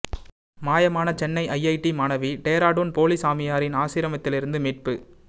மாயமான சென்னை ஐஐடி மாணவி டேராடூன் போலி சாமியாரின் ஆசிரமித்திலிருந்து மீட்பு